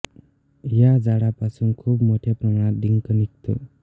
या झाडा पासून खूप मोठया प्रमाणात डिंक निघतो